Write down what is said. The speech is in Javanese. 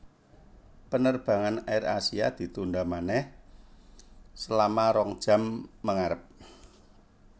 Penerbangan AirAsia ditunda maneh selama rong jam mengarep